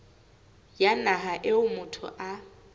ya naha eo motho a